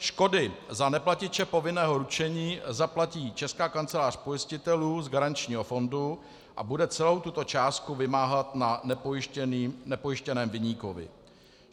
Škody za neplatiče povinného ručení zaplatí Česká kancelář pojistitelů z garančního fondu a bude celou tuto částku vymáhat na nepojištěném viníkovi.